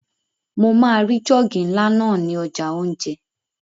Mo máa ri jọ́ọ̀gì ńlá náà ní ọjà óúnjẹ